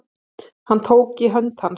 Hann tók í hönd hans.